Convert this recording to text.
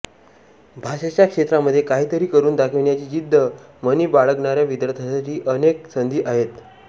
भाषेच्या क्षेत्रामध्ये काहीतरी करून दाखविण्याची जिद्द मनी बाळगणाऱ्या विद्यार्थ्यांसाठी अनेक संधी आहेत